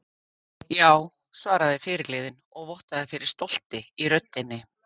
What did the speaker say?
Já, svaraði fyrirliðinn og vottaði fyrir stolti í röddinni.